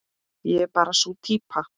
Ég er bara sú týpa.